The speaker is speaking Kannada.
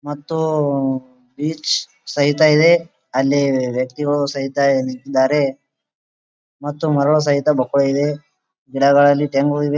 ಮತ್ತು ಬೀಚ್ ಸಹಿತ ಇದೆ ಅಲ್ಲಿ ವ್ಯಕ್ತಿಗಳು ಸಹಿತ ನಿಂತಿದ್ದಾರೆ ಮತ್ತು ಮರಗಳು ಸಹಿತ ಬಕ್ಕುಲ್ ಇದೆ ಗಿಡಗಳಲ್ಲಿ ತೆಂಗು ಇವೆ.